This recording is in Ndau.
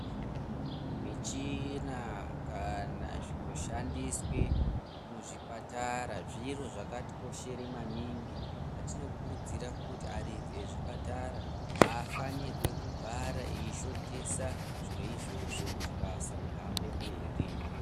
Michina kana zvinoshandiswe muzvipatara zviro zvakatikoshera manhingi. Patino kurudzire kuti varidzi vezvipatara haafanirwe kugara eishotesa zviro izvozvo kuti basa rihambe mberi.